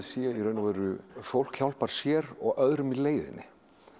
fólk hjálpar sér og öðrum í leiðinni